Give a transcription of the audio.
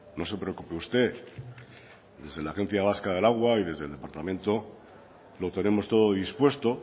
no se preocupe usted desde la agencia vasca del agua y desde el departamento lo tenemos todo dispuesto